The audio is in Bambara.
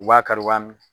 U b'a kari u b'a min